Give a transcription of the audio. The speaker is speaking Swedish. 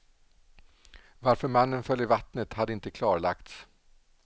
Varför mannen föll i vattnet hade inte klarlagts.